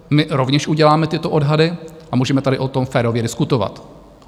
My rovněž uděláme tyto odhady a můžeme tady o tom férově diskutovat.